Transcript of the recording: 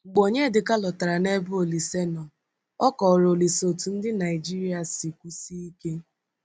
Mgbe Onyedịka lọtara n’ebe Olíse nọ, o kọrọ Olíse otú ndị Naịjirịa siri kwụsie ike.